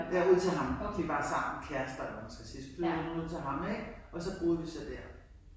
Ja ud til ham. De var sammen. Kærester eller hvad man skal sige. Så flyttede hun ud til ham ik og så boede vi så der